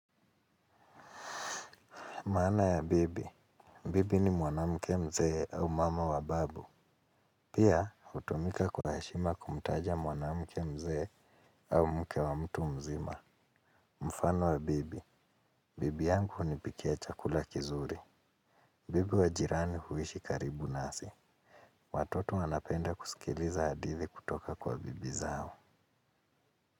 Maana ya bibi, bibi ni mwanamke mzee au mama wa babu. Pia hutumika kwa heshima kumtaja mwanamke mzee au mke wa mtu mzima. Mfano wa bibi, bibi yangu hunipikia chakula kizuri. Bibi wa jirani huishi karibu nasi. Watoto wanapenda kusikiliza hadithi kutoka kwa bibi zao.